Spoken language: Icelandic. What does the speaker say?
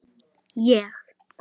Ég?!